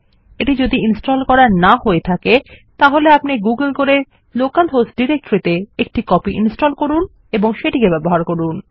যদি এটি ইনস্টল না হয়ে থাকে আপনি এটি গুগল করে লোকাল হোস্ট ডিরেক্টরি তে একটি কপি ইনস্টল করুন এবং সেটি ব্যবহার করুন